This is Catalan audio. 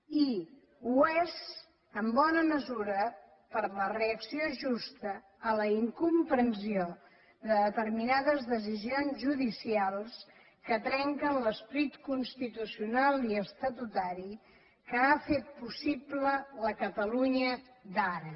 i ho és en bona mesura per la reacció justa a la incomprensió de determinades decisions judicials que trenquen l’esperit constitucional i estatutari que ha fet possible la catalunya d’ara